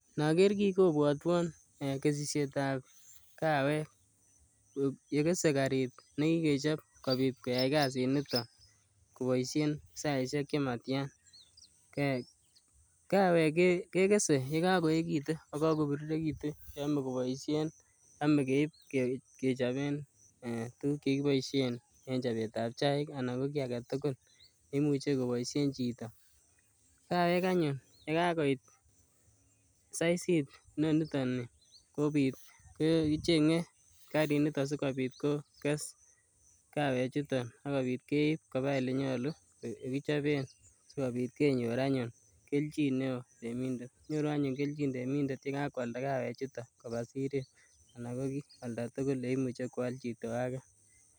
Noker kii kobwotwon kesisietab kawek nekese karit nekikechop kobit koyai kasiniton koboishen saishek chematian, kawek kekese yekakoekitu yekoko birirekitu cheome koboishen, yome keib kechoben tukuk chekiboishen en chobetab chaik anan ko kii aketukul neimuche koboishen chito, kawek anyun yekakoit saisit niton nii ko kichenge kariniton sikobit kokes kawe chuton akobit keib kobaa elee nyolu yekichoben sikobit kenyor anyun kelchin neo temindet, nyoru anyun kelchin temindet yekakwalda kawe chuton kobaa siret anan ko oldatukul oleimuche kwal chito akee.